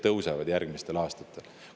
Pensionid järgmistel aastatel tõusevad.